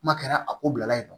Kuma kɛra a ko bilala yen nɔ